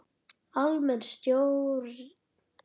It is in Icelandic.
Almenn stjórn.